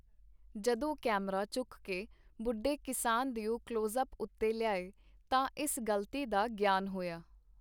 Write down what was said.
ਜਦੋਂ ਕੈਮਰਾ ਚੁੱਕ ਕੇ ਬੁੱਢੇ ਕਿਸਾਨ ਦਿਓ ਕਲਵੋਜ਼-ਅਪ ਉਤੇ ਲਿਆਏ, ਤਾਂ ਇਸ ਗ਼ਲਤੀ ਦਾ ਗਿਆਨ ਹੋਇਆ.